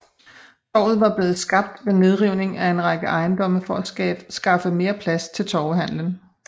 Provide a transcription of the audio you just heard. Torvet var blevet skabt ved nedrivning af en række ejendomme for at skaffe mere plads til torvehandelen